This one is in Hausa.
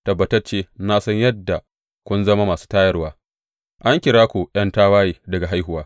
Tabbatacce na san yadda kun zama masu tayarwa; an kira ku ’yan tawaye daga haihuwa.